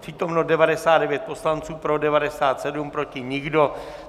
Přítomno 99 poslanců, pro 97, proti nikdo.